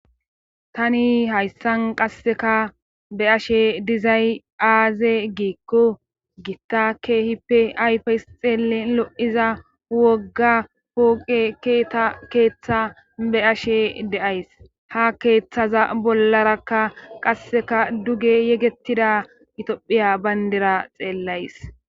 Tani hayssan qasseka be ashe dizay aaze giikko gitta keehippe ayfeys xeelen lo7iza wogga pooqe keeta keeththa be ashe deays ha keeththaza bollarakka qasseka duge yegettida itophiya bayndira xeellays